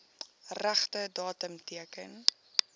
regte datum teken